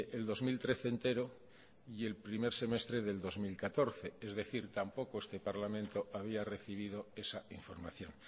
el dos mil trece entero y el primer semestre del dos mil catorce es decir tampoco este parlamento había recibido esa información